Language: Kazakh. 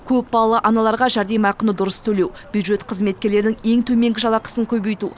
көпбалалы аналарға жәрдемақыны дұрыс төлеу бюджет қызметкерлерінің ең төменгі жалақысын көбейту